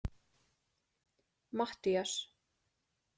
Mattías